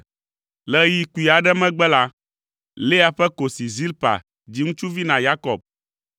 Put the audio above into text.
Le ɣeyiɣi kpui aɖe megbe la, Lea ƒe kosi Zilpa dzi ŋutsuvi na Yakob.